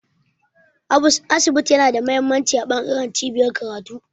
Asibiti yana da mahimmanci a bangaren cibiyar karatu